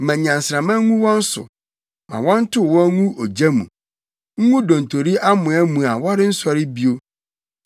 Ma nnyansramma ngu wɔn so; ma wɔntow wɔn ngu ogya mu, ngu dontori amoa mu a wɔrensɔre bio.